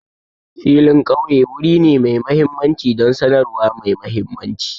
Filin ƙauye wuri ne mai mahimmanci don sanarwa mai mahimmanci.